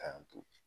K'an to